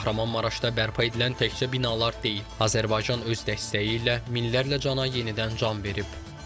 Kahramanmaraşda bərpa edilən təkcə binalar deyil, Azərbaycan öz dəstəyi ilə minlərlə cana yenidən can verib.